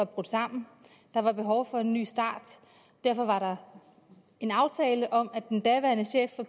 brudt sammen der var behov for en ny start og derfor var der en aftale om at den daværende chef for